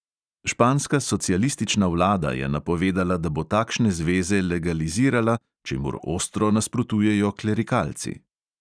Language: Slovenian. Španska socialistična vlada je napovedala, da bo takšne zveze legalizirala, čemur ostro nasprotujejo klerikalci.